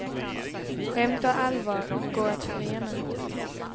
Skämt och allvar går att förena.